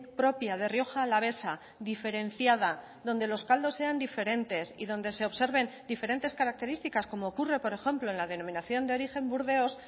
propia de rioja alavesa diferenciada donde los caldos sean diferentes y donde se observen diferentes características como ocurre por ejemplo en la denominación de origen burdeos